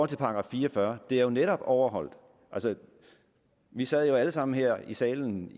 til § fire og fyrre er det jo netop overholdt altså vi sad jo alle sammen her i salen